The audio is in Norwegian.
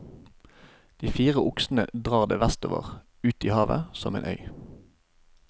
De fire oksene drar det vestover, ut i havet, som en øy.